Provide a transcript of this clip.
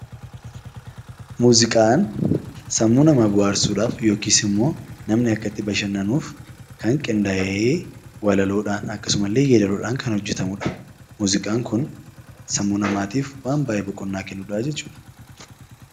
Muuziqaan sammuu namaa bohaarsuudhaaf yookiis immoo namni akka itti bashannanuuf kan qindaa'ee walaloodhaan akkasumallee yeedaloodhaan kan hojjetamudha. Muuziqaan kun sammuu namaatiif waan baay'ee boqonnaa kennudha jechuudha.